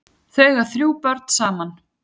Þau eiga þrjú börn saman.